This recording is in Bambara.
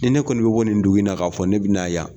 Ni ne kɔni bɛ bɔ nin dugu in na k'a fɔ ne bɛ na yan.